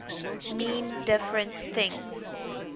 mean different things